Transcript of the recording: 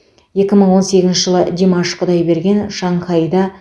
екі мың он сегізінші жылы димаш құдайберген шанхайда